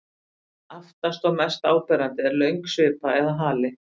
Aftast og mest áberandi er löng svipa eða hali.